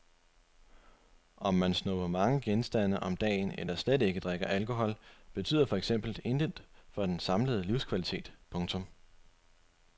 Om man snupper mange genstande om dagen eller slet ikke drikker alkohol betyder for eksempel intet for den samlede livskvalitet. punktum